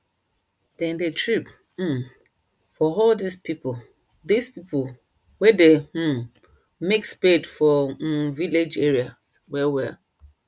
them dey trip um for all these people these people wen dey um make spade for um village area well well